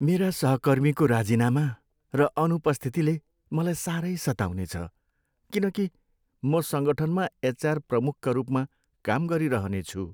मेरा सहकर्मीको राजीनामा र अनुपस्थितिले मलाई सारै सताउनेछ किनकि म सङ्गठनमा एचआर प्रमुखका रूपमा काम गरिरहनेछु।